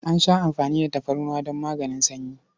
An sha amfani da tafarnuwa don maganin sanyi.